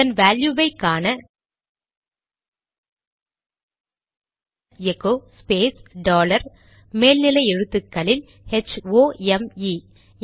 இதன் வேல்யுவை காண எகோ ஸ்பேஸ் டாலர் மேல் நிலை எழுத்துக்களில் ஹெச்ஓஎம்இ ஹோம்